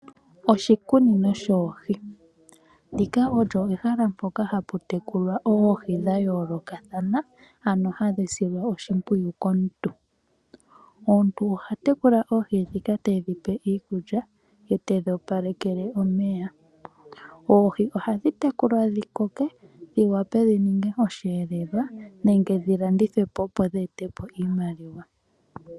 Oshikunino shoohi, ndika olyo ehala mpoka hapu tekulwa oohi dha yoolokathana ano hadhi silwa oshimpwiyu komuntu. Omuntu oha tekula oohi ndhika tedhi pe iikulya ye tedhi opalekele omeya. Oohi ohadhi tekulwa dhi koke dhi wape dhi ninge osheelelwa nenge dhi landithwe po, opo dhi ete po iimaliwa.